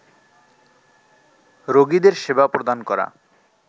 রোগীদের সেবা প্রদান করা